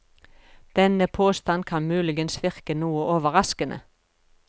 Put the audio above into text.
Denne påstand kan muligens virke noe overraskende.